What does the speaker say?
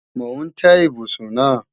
Mò ń tẹ́ ibùsùn náà